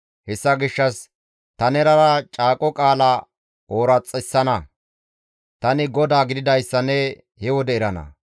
Hessa gishshas ta nenara caaqo qaala ooraxissana; tani GODAA gididayssa ne he wode erana.